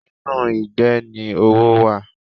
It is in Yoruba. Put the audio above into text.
Inú ìgbẹ́ ni owó wà.